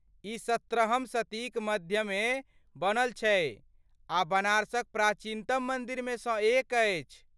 ई सत्रहम शतीक मध्यमे बनल छलै आ बनारसक प्राचीनतम मन्दिरमे सँ एक अछि।